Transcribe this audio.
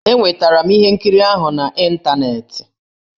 Enwetara m ihe nkiri ahụ n'ịntaneetị.